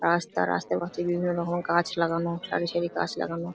রাস্তা রাস্তার মাঝে বিভিন্ন রকম গাছ লাগানো সারি সারি গাছ লাগানো ।